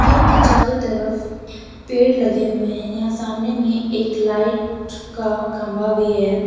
Gate के चारों तरफ पेड़ लगे हुए हैं यहां सामने में एक लाइट का खंभा भी है।